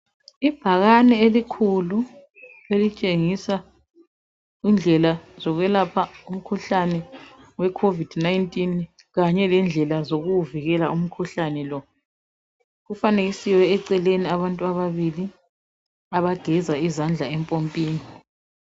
Ibhakane elikhulu elitshengisa indlela zokwelapha umkhuhlane we COVID-19 Kanye lendlela zokuwuvikela umkhuhlane lo kufanekisiwe eceleni abantu ababili abageza izandla empompini